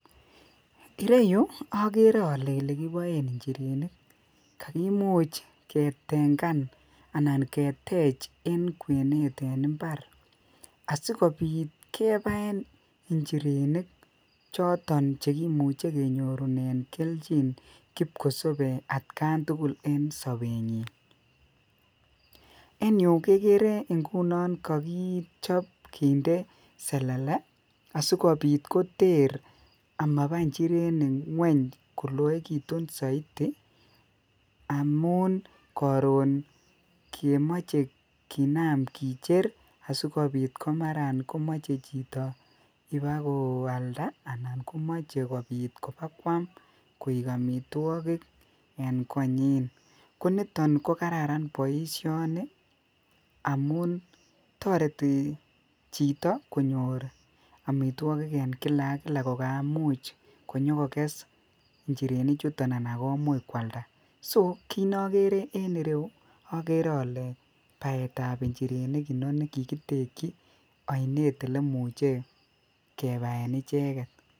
Kireyuu agere ale elekibayeen injerenik kakimuuch ke tengaan anan keteech en kwenet ab mbar asikobiit kebaen injerenik asikobiit kenyoruunen keljiin kipko sabei at Gaan tugul en sabeet nyiin ,en Yuu kegere ngunoon kaichaap kinde selele asikobiit koger ama baa injerenik kweeny koloegituun Zaidi amuun karoon memachei kinam kicher asikobiit maraan komachei chitoo ibaat ko alda ana asikobiit komachei iba kwaam koek amitwagiik en koanyiin ko nitoon ko kararan boisioni amuun taretii chitoo amitwagiik en kila ak kila kakamuuch kokes injirenik chutoon anan komuuch koalda ko kit nagere en ireuu agere ale baet ab injerenik inoni kikitekyii ainet olemuche kebaen ichegeet.